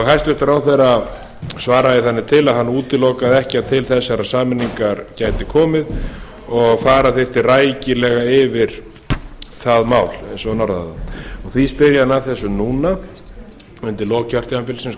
hæstvirtur ráðherra svaraði þannig til að hann útilokaði ekki að til þeirrar sameiningar gæti komið og fara þyrfti rækilega yfir það mál eins og hann orðaði það því spyr ég hann að þessu núna undir lok kjörtímabilsins